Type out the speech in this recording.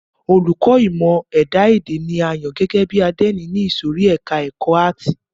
Olùkọ́ni ìmọ ẹ̀dá èdè ni a yàn gẹ́gẹ́ bí àdénì ní ìsòrí ẹka ẹ̀kọ́ àátì.